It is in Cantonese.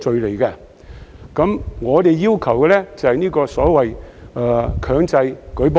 可是，我們要求的是強制舉報。